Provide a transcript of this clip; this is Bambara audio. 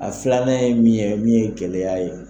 A filanan ye min ye min ye gɛlɛya ye.